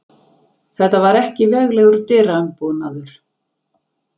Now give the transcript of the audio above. Þetta var ekki veglegur dyraumbúnaður.